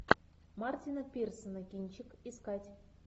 мартина пирсона кинчик искать